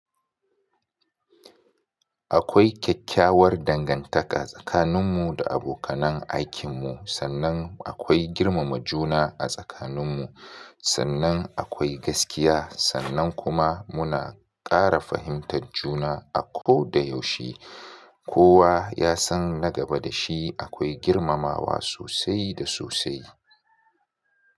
Akwai kyakkyawar dangantaka tsakaninmu da abokan aikinmu, sannan akwai girmama juna a tsakaninmu, sannan akwai gaskiya, sannan kuma muna ƙara fahimtar juna a ko da yaushe. Kowa ya san na gaba da shi akwai girmamawa sosai da sosai.